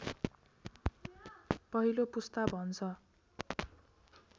पहिलो पुस्ता भन्छ